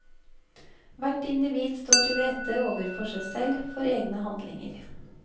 Hvert individ står til rette ovenfor seg selv for egne handlinger.